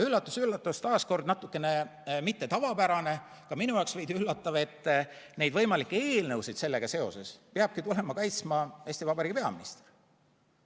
Üllatus-üllatus, taas natukene mitte tavapärane, ka minu jaoks veidi üllatav: neid võimalikke eelnõusid sellega seoses peabki tulema kaitsma Eesti Vabariigi peaminister.